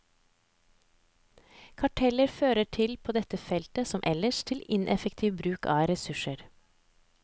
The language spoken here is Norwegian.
Karteller fører på dette felt, som ellers, til ineffektiv bruk av ressurser.